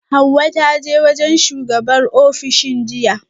Hauwa ta je wajen shugabar ofishin jiya